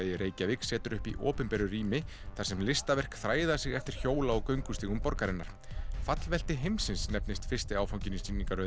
í Reykjavík setur upp í opinberu rými í þar sem listaverk þræða sig eftir hjóla og göngustígum borgarinnar heimsins nefnist fyrsti áfanginn í